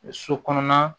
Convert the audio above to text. So kɔnɔna